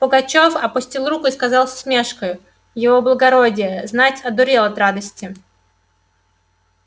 пугачёв опустил руку и сказал с усмешкою его благородие знать одурел от радости